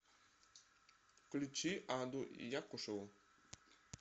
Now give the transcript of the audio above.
включи аду якушеву